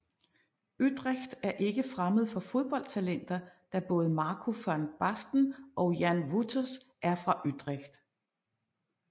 Utrecht er ikke fremmed for fodboldtalenter da både Marco van Basten og Jan Wouters er fra Utrecht